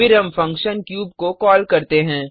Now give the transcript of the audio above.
फिर हम function cube को कॉल करते हैं